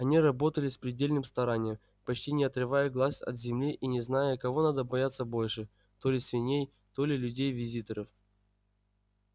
они работали с предельным старанием почти не отрывая глаз от земли и не зная кого надо бояться больше то ли свиней то ли людей-визитеров